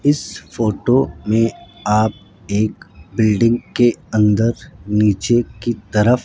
इस फोटो मे आप एक बिल्डिंग के अंदर नीचे की तरफ --